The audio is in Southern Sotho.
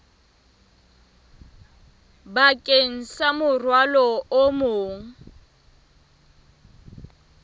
bakeng sa morwalo o mong